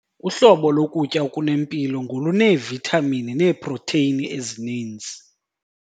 Uhlobo lokutya okunempilo ngoluneevithamini neeprotheyini ezininzi.